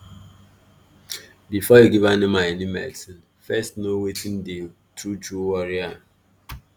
be for you give animal any medicine first know weyth dey true true worry am